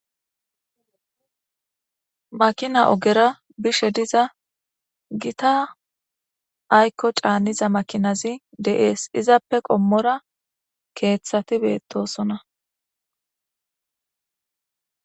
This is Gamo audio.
Makina ogera bishe diza gita ayko c'aniza makinazi de'es izappe qomora kethati betosona.